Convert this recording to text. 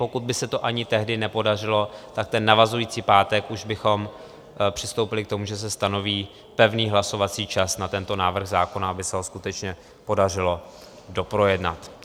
Pokud by se to ani tehdy nepodařilo, tak ten navazující pátek už bychom přistoupili k tomu, že se stanoví pevný hlasovací čas na tento návrh zákona, aby se ho skutečně podařilo doprojednat.